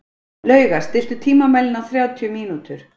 Lauga, stilltu tímamælinn á þrjátíu mínútur.